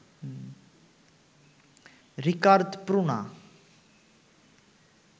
রিকার্দ Pruna